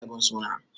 Eh, ya saya ragon suna.